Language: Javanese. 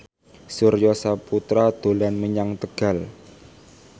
Surya Saputra dolan menyang Tegal